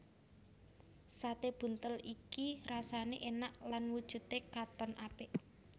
Sate buntel iki rasane enak lan wujude katon apik